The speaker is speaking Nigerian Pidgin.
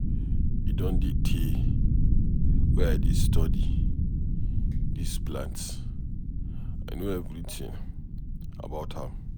E don tey wey I dey study dis plant. I know everything about am.